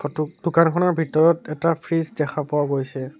তুক টোকাৰখনৰ ভিতৰত এটা ফ্ৰিজ দেখা পোৱা গৈছে।